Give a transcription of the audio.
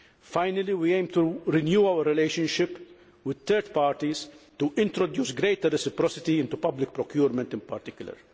Finally, we aim to renew our relationships with third parties and to introduce greater reciprocity into public procurement in particular.